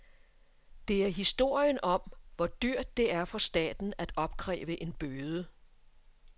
Det er historien om, hvor dyrt det er for staten at opkræve en bøde.